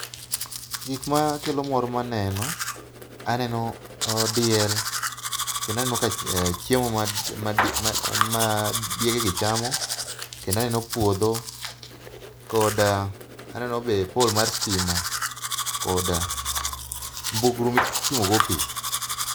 gikma keo mor maneno, aneno diel, kendo aneno ka chiemo ma diege gi chamo kendo aneno puodho, koda, aneno be poll mar stima kod mbugru mituomo go pii